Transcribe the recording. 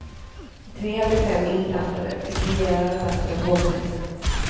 Tre av de fem inblandade fick rejäla rabatter av hovrätten.